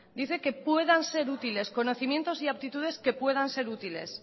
dice que puedan ser útiles conocimientos y aptitudes que puedan ser útiles